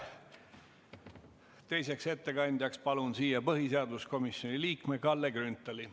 Teiseks ettekandjaks palun põhiseaduskomisjoni liikme Kalle Grünthali.